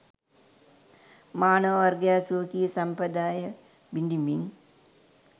මානව වර්ගයා ස්වකීය සම්ප්‍රදාය බිඳිමින්